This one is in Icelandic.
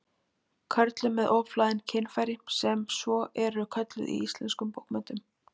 Körlum með ofhlaðin kynfæri, sem svo eru kölluð í íslenskum bókmenntum.